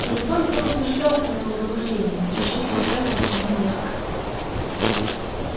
телефон словно дожидался моего пробуждения зачирикал требовательно и мерзко